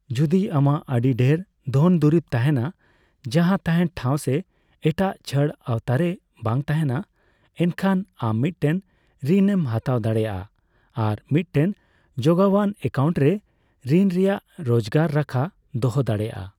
ᱡᱚᱫᱤ ᱟᱢᱟᱜ ᱟᱹᱰᱤ ᱰᱷᱮᱨ ᱫᱷᱚᱱ ᱫᱩᱨᱤᱵᱽ ᱛᱟᱦᱮᱸᱱᱟ ᱡᱟᱦᱟᱸ ᱛᱟᱦᱮᱸᱱ ᱴᱷᱟᱣ ᱥᱮ ᱮᱴᱟᱜ ᱪᱷᱟᱹᱲ ᱟᱣᱛᱟᱨᱮ ᱵᱟᱝ ᱛᱟᱦᱮᱸᱱᱟ, ᱮᱱᱠᱷᱟ ᱟᱢ ᱢᱤᱫᱴᱮᱱ ᱨᱤᱱ ᱮᱢ ᱦᱟᱛᱟᱣ ᱫᱟᱲᱮᱭᱟᱜᱼᱟ ᱟᱨ ᱢᱤᱫᱴᱮᱱ ᱡᱚᱜᱟᱣᱟᱱ ᱮᱠᱟᱣᱩᱱᱴ ᱨᱮ ᱨᱤᱱ ᱨᱮᱭᱟᱜ ᱨᱚᱡᱜᱟᱨ ᱨᱟᱠᱷᱟ ᱫᱚᱦᱚ ᱫᱟᱲᱮᱭᱟᱜᱼᱟ ᱾